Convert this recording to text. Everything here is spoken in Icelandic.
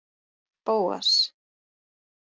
Bóas